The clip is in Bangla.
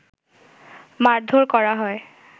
মারধর করা হয়